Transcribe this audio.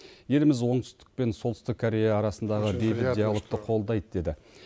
еліміз оңтүстік пен солтүстік корея арасындағы бейбіт диалогты қолдайды деді